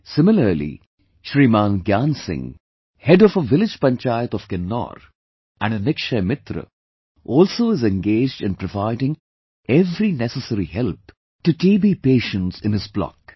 Similarly, Shriman Gyan Singh, head of a village panchayat of Kinnaur and a Nikshay Mitra also is engaged in providing every necessary help to TB patients in his block